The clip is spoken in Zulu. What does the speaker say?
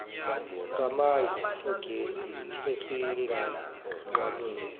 samandla ogesi esinganqamuki